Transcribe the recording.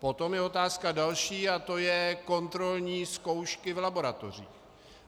Potom je otázka další, a to je kontrolní zkoušky v laboratořích.